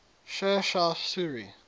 sher shah suri